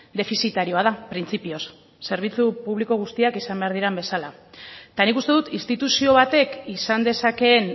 defizitarioa da printzipioz zerbitzu publiko guztiak izan behar diren bezala eta nik uste dut instituzio batek izan dezakeen